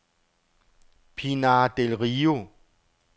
Pinar del Rio